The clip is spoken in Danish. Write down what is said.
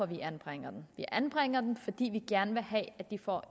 vi anbringer dem vi anbringer dem fordi vi gerne vil have at de får